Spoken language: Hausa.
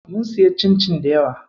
Mun siya cincin dayawa.